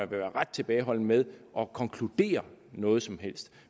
være ret tilbageholdende med at konkludere noget som helst